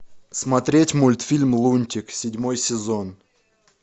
смотреть мультфильм лунтик седьмой сезон